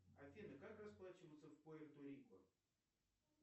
афина как расплачиваются в пуэрто рико